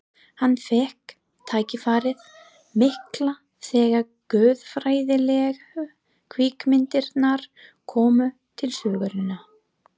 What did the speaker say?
Hann fékk tækifærið mikla þegar guðfræðilegu kvikmyndirnar komu til sögunnar.